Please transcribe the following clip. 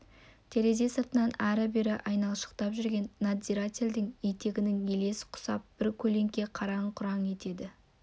терезе сыртынан ары-бері айналшықтап жүрген надзирательдің етігінің елесі құсап бір көлеңке қараң-құраң етеді